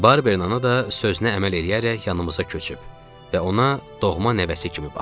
Barbernana da sözünə əməl eləyərək yanımıza köçüb və ona doğma nəvəsi kimi baxır.